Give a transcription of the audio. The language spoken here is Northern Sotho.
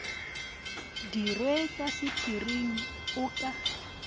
dirwe ka sephiring o ka